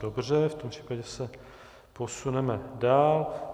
Dobře, v tom případě se posuneme dál.